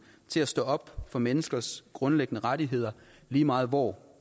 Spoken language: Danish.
til at stå op for menneskers grundlæggende rettigheder lige meget hvor